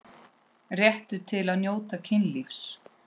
Réttur til að njóta kynlífs